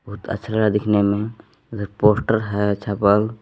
बहुत अच्छा लग रहा है दिखने में उधर पोस्टर है छापल।